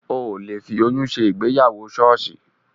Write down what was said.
Ò le fi oyún ṣe ìgbéyàwó ṣọ́ọ̀ṣì